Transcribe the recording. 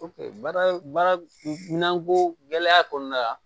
baara baara minanko gɛlɛya kɔnɔna la